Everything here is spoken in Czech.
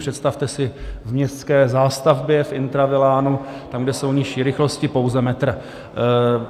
Představte si v městské zástavbě, v intravilánu, tam, kde jsou nižší rychlosti, pouze metr.